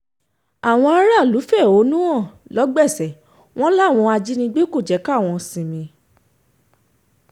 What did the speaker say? àwọn aráàlú fẹ̀hónú hàn lọ́gbèsè wọn láwọn ajínigbé kò jẹ́ kí àwọn sinmi